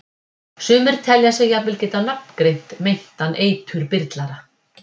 Telja sumir sig jafnvel geta nafngreint meintan eiturbyrlara.